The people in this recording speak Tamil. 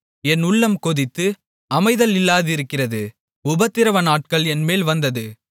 என் உள்ளம் கொதித்து அமைதல் இல்லாதிருக்கிறது உபத்திரவநாட்கள் என்மேல் வந்தது